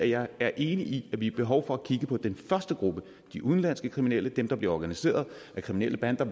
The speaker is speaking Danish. jeg er enig i at vi har behov for at kigge på den første gruppe de udenlandske kriminelle dem der bliver organiseret af kriminelle bander